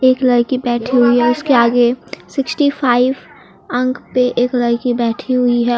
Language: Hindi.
एक लड़की बैठी हुई है उसके आगे सिक्सटी फाइव अंक पे एक लड़की बैठी हुई है।